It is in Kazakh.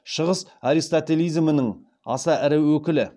шығыс аристотелизмінің аса ірі өкілі